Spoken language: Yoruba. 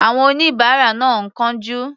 Àwọn oníbàárà náà ń kánjú.